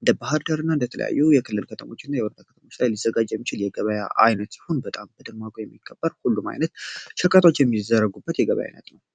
እንደ ባህር ደር እና እንደተለያዩ የክልል ከተሞች እና የወርዳ ከተሞች ላይ ሊዘጋጅ የሚችል የገበያ አይነት ሲሆን በጣም በደማቆ የሚከበር ሁሉም ዓይነት ችርከቶች የሚዘረጉበት የገበያ አይነት ነው።